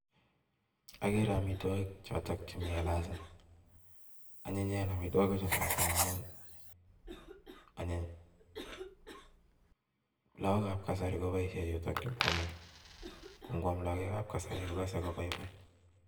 Agereee amitwok chotok chemii glasiit anyinyeen mising amun anyiny kwam. lagook ap.kasari kokas koanyiny